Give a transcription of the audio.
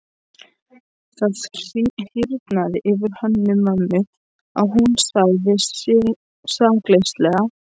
Það hýrnaði yfir Hönnu-Mömmu og hún sagði sakleysislega: